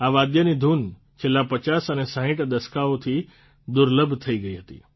આ વાદ્યની ધૂન છેલ્લા ૫૦ અને ૬૦ દસકાઓથી દુર્લભ થઇ ગઇ હતી